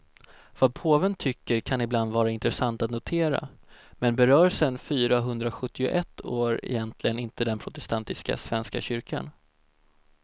Vad påven tycker kan ibland vara intressant att notera, men berör sen fyrahundrasjuttioett år egentligen inte den protestantiska svenska kyrkan.